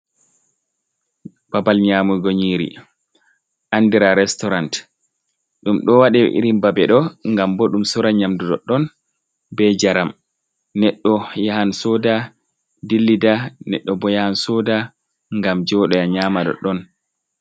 Babal nyamugo nyiri andira restaurant ɗum do waɗe irin babeɗo ngam bo ɗum sora nyamdu ɗoɗɗon be njaram neɗɗo yahan soda dillida neɗɗo bo yahan soda ngam joɗoya nyama ɗoɗɗon.